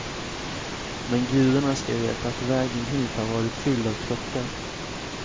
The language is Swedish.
Men gudarna ska veta att vägen hit har varit fylld av krockar.